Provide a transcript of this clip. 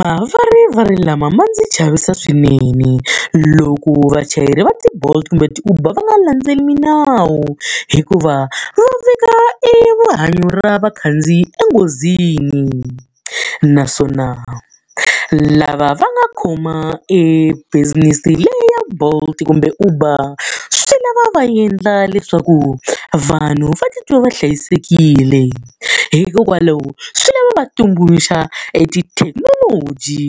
Mavarivari lama ma ndzi chavisa swinene loko vachayeri va ti-Bolt kumbe ti-Uber va nga landzeleli milawu, hikuva va veka erihanyo ra vakhandziyi enghozini. Naswona lava va nga khoma e business leyi ya Bolt kumbe Uber, swi lava va endla leswaku vanhu va titwa va hlayisekile. Hikokwalaho swi lava va tumbuluxa etithekinoloji